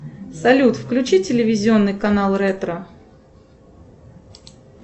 салют включи телевизионный канал ретро